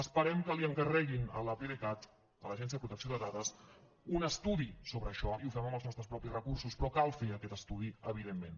esperem que li encarreguin a l’apdcat a l’agència de protecció de dades un estudi sobre això i ho fem amb els nostres propis recursos però cal fer aquest estudi evidentment